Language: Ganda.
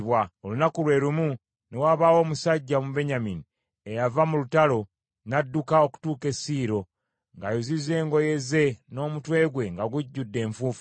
Olunaku lwe lumu ne wabaawo omusajja Omubenyamini eyava mu lutalo n’adduka okutuuka e Siiro, ng’ayuzizza engoye ze n’omutwe gwe nga gujjudde enfuufu.